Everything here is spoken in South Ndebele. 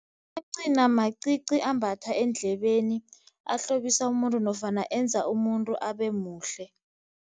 Amancina macici ambathwa eendlebeni ahlobisa umuntu nofana enza umuntu abemuhle.